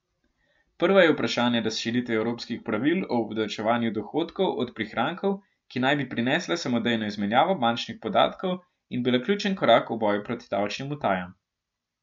Prva je vprašanje razširitve evropskih pravil o obdavčevanju dohodkov od prihrankov, ki naj bi prinesla samodejno izmenjavo bančnih podatkov in bila ključen korak v boju proti davčnim utajam.